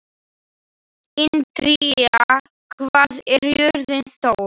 Indíra, hvað er jörðin stór?